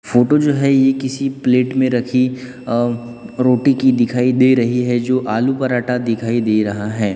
Photo जो है ये किसी प्लेट में रखी अ रोटी की दिखाई दे रही है जो आलू पराठा दिखाई दे रहा है।